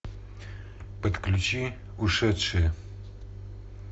подключи ушедшие